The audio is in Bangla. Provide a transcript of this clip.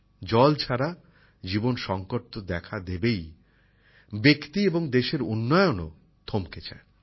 জল ছাড়া জীবন সংকট তো দেখা দেবেই ব্যক্তি এবং দেশের উন্নয়নও থমকে যায়